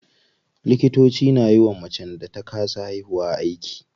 Likitoci na yiwa macen da ta kasa haihuwa aiki.